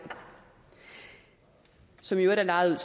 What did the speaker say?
som i øvrigt er lejet